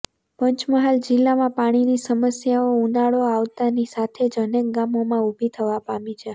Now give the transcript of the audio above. પંચમહાલ જિલ્લામાં પાણીની સમસ્યાઓ ઉનાળો આવતાની સાથે જ અનેક ગામોમાં ઉભી થવા પામી છે